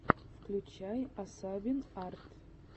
включай асабин арт